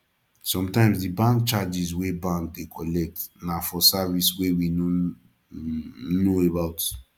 sometimes di bank charges wey bank dey collect na for service wey we no um know about